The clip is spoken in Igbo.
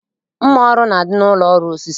Mma ọrụ na-adị n'ụlọ ọrụ osisi